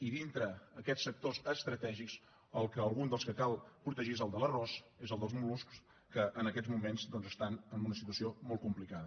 i dintre aquests sectors estratègics algun dels que cal protegir és el de l’arròs és el dels mol·luscs que en aquests moments doncs estan en una situació molt complicada